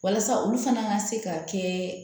Walasa olu fana ka se ka kɛ